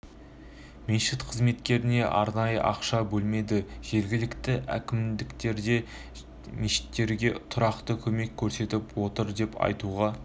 мешіт қызметкерлеріне арнайы ақша бөлмейді жергілікті әкімдіктерді де мешіттерге тұрақты көмек көрсетіп отыр деп айтуға